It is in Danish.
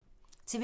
TV 2